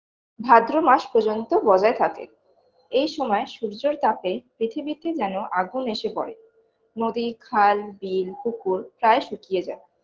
ভাদ্র মাস পযর্ন্ত বজায় থাকে এই সময় সূর্যর তাপে পৃথিবীতে যেন আগুন এসে পরে নদী খাল বিল পুকুর প্রায় শুকিয়ে যায়